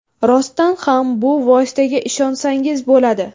Rostdan ham bu vositaga ishonsangiz bo‘ladi.